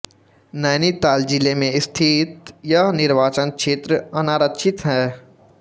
नैनीताल जिले में स्थित यह निर्वाचन क्षेत्र अनारक्षित है